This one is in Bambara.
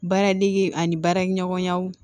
Baara dege ani baaraɲɔgɔnya